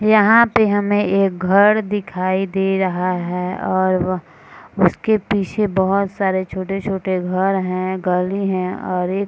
यहाँ पे हमें एक घर दिखाई दे रहा है और वह उसके पीछे बहोत सारे छोटे-छोटे घर हैं गली हैं और एक --